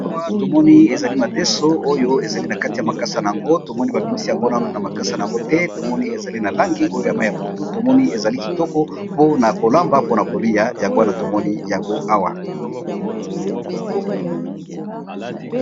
Awa tomoni eza madeso eza nakati ya makasa nango eza na langi ya mayi ya pondu tomoni eza kitoko pona kolamba pe nakolya.